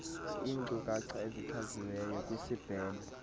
inkcukacha ezichaziweyo kwisibheno